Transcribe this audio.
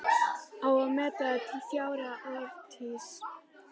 Á að meta það til fjár eða orðstírs?